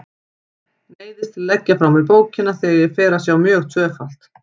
Neyðist til að leggja frá mér bókina þegar ég fer að sjá mjög tvöfalt.